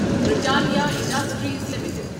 Britannia Industries limited